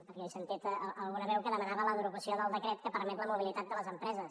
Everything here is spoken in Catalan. perquè he sentit alguna veu que demanava la derogació del decret que permet la mobilitat de les empreses